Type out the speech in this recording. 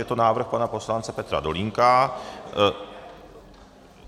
Je to návrh pana poslance Petra Dolínka.